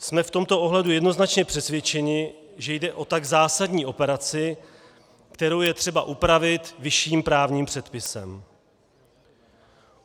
Jsme v tomto ohledu jednoznačně přesvědčeni, že jde o tak zásadní operaci, kterou je třeba upravit vyšším právním předpisem.